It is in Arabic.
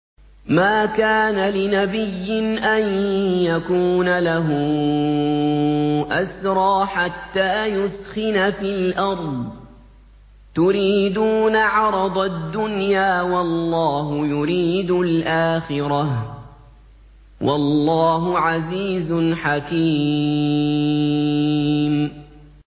مَا كَانَ لِنَبِيٍّ أَن يَكُونَ لَهُ أَسْرَىٰ حَتَّىٰ يُثْخِنَ فِي الْأَرْضِ ۚ تُرِيدُونَ عَرَضَ الدُّنْيَا وَاللَّهُ يُرِيدُ الْآخِرَةَ ۗ وَاللَّهُ عَزِيزٌ حَكِيمٌ